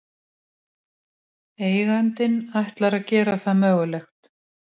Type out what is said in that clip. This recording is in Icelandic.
Eigandinn ætlar að gera það mögulegt